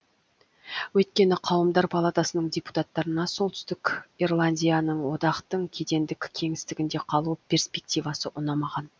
өйткені қауымдар палатасының депутаттарына солтүстік ирландияның одақтың кедендік кеңістігінде қалу перспективасы ұнамаған